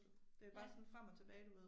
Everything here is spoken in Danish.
Det er bare sådan frem og tilbage du ved